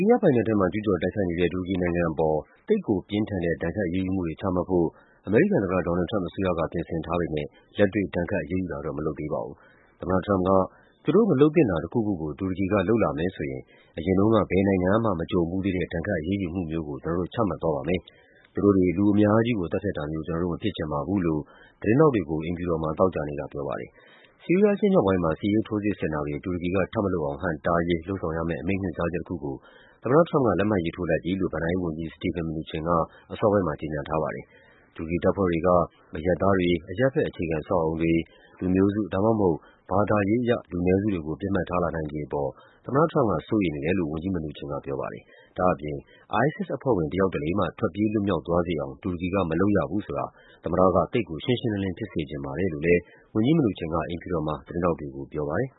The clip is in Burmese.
ရီးယားပိုင်နက်ထဲမှာ ကျူးကျော်တိုက်ခိုက်တဲ့ တူရကီနိုင်ငံအပေါ် သိပ်ကိုပြင်းထန်တဲ့ ဒဏ်ခတ်အရေးယူမှုတွေ ချမှတ်ဖို့ အမေရိကန်သမ္မတ Donald Trump အစိုးရက ပြင်ဆင်ထားပေမယ့် လက်တွေ့ ဒဏ်ခတ်အရေးယူတာတော့ မလုပ်သေးပါဘူး။ သမ္မတထရမ့်ပ်က “သူတို့မလုပ်သင့်တာတခုခုကို တူရကီက လုပ်လာမယ်ဆိုရင် အရင်တုန်းက ဘယ်နိုင်ငံမှ မကြုံဖူးသေးတဲ့ ဒဏ်ခတ်အရေးယူမှုမျိုးကို ကျနော်တို့ ချမှတ်သွားပါမယ်။ သူတို့တွေ လူအများကြီးကို သတ်ဖြတ်တာမျိုး ကျနော်တို့ မဖြစ်ချင်ပါ ဘူး” လို့ သတင်းထောက်တွေကို အိမ်ဖြူတော်မှာ သောကြာနေ့ကပြောပါတယ်။ ဆီးရီးယား အရှေ့မြောက်ပိုင်းမှာ စစ်ရေး ထိုးစစ်ဆင်တာတွေ တူရကီက ထပ်မလုပ်အောင် ဟန့်တားရေး လုပ်ဆောင်ရမယ့် အမိန့်ညွှန်ကြားချက်တခုကို သမ္မတထရမ့်ပ်က လက်မှတ်ရေးထိုးလိုက်ပြီလို့ ဘဏ္ဍာရေးဝန်ကြီး Steven Mnuchin က အစောပို်င်း မှာ ကြေညာထားပါတယ်။ တူရကီတပ်ဖွဲ့တွေက အရပ်သားတွေ၊ အရပ်ဘက် အခြေခံအဆောက်အအုံတွေ၊ လူမျိုးစု ဒါမှုမဟုတ် ဘာသာရေးအရ လူနည်းစု တွေကို ပစ်မှတ်ထားလာနိုင်ခြေအပေါ် သမ္မတထရမ့်ပ်က စိုးရိမ်နေတယ်လို့ ဝန်ကြီး Mnuchin ကပြောပါတယ်။ ဒါ့အပြင် “ISIS အဖွဲ့ဝင် တယောက်တလေမှ ထွက်ပြေးလွတ်မြောက်သွားစေအောင် တူရကီက မလုပ်ရဘူးဆိုတာ သမ္မတက သိပ်ကိုရှင်းရှင်းလင်းလင်း ဖြစ်စေချင်ပါတယ်” လို့လည်း ဝန်ကြီး Mnuchin က အိမ်ဖြူတော်မှာ သတင်းထောက်တွေကို ပြောပါတယ်။